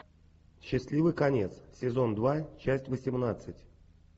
счастливый конец сезон два часть восемнадцать